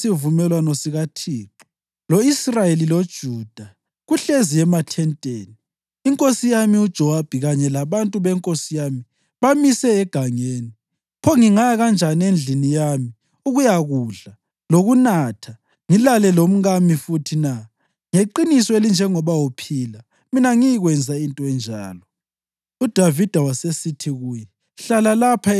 U-Uriya wathi kuDavida, “Ibhokisi lesivumelwano sikaThixo lo-Israyeli loJuda kuhlezi emathenteni, inkosi yami uJowabi kanye labantu benkosi yami bamise egangeni. Pho ngingaya kanjani endlini ukuyakudla, lokunatha ngilale lomkami futhi na? Ngeqiniso elinjengoba uphila, mina angiyikwenza into enjalo!”